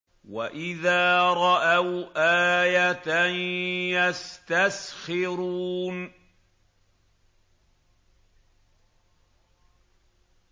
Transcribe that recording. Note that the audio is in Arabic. وَإِذَا رَأَوْا آيَةً يَسْتَسْخِرُونَ